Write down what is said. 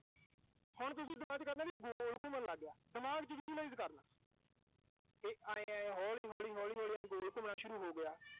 ਹੁਣ ਤੁਸੀਂ ਦਿਮਾਗ ਚ ਕਰਨਾ ਵੀ ਗੋਲ ਘੁੰਮਣ ਲਾਗਿਆ। ਦਿਮਾਗ ਚ visualize ਕਰਨਾ। ਇਹ ਆਏਂ-ਆਏਂ, ਹੌਲੀ-ਹੌਲੀ, ਹੌਲੀ-ਹੌਲੀ ਆਏਂ ਗੋਲ ਘੁੰਮਣਾ ਸ਼ੁਰੂ ਹੋਗਿਆ।